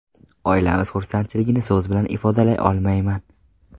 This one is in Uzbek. Oilamiz xursandchiligini so‘z bilan ifodalay olmayman.